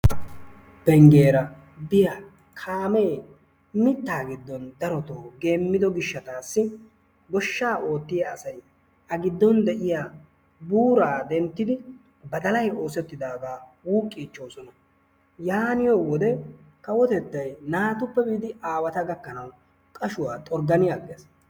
penggiyaara biya kaamee mittaa giddon darotoo geemido gishshatassi goshshaa ootiya asay a giddon de'iyaa buura denttidi badalay oosetidaaga wuuqichoosona. yaaniyo wode kawotettay naatuppe biidi aaweata gakkanaw qashshuwa xorggan aggees.